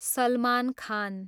Salman Khan